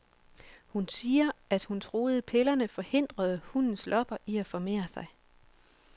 Hun siger, at hun troede pillerne forhindrede hundens lopper i at formere sig.